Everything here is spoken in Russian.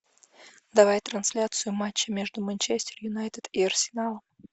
давай трансляцию матча между манчестер юнайтед и арсеналом